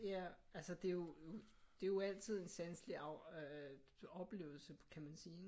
Ja altså det er jo det er jo altid en sanselig øh oplevelse kan man sige